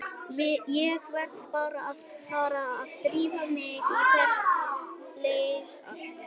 Ég verð bara að fara að drífa mig í að lesa þetta allt.